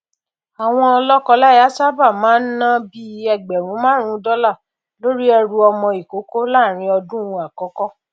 àwọn lọkọláya sábà máa n ná bí i ẹgbẹrún márùnún dollar lórí ẹrù ọmọ ìkókó láàrin ọdún àkọkọ